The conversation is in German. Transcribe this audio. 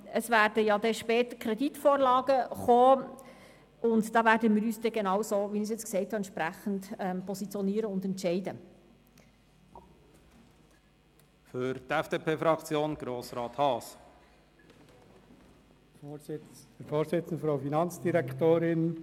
Wir werden in dieser Session auch Kreditvorlagen behandeln, und dazu werden wir uns genauso, wie ich es jetzt gesagt habe, positionieren und entsprechend entscheiden.